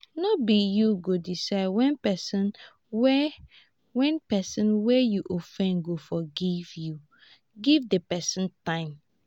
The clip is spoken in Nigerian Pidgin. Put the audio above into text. no be you go decide when person wey when person wey you offend go forgive you give di person time